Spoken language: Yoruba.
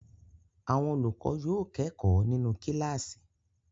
Àwọn olùkọ́ yóò kẹ́kọ̀ọ́ nínú kíláàsì.